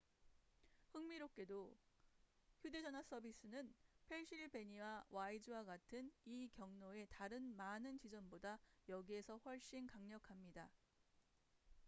흥미롭게도 휴대 전화 서비스는 펜실베니아 와이즈와 같은 이 경로의 다른 많은 지점보다 여기에서 훨씬 강력합니다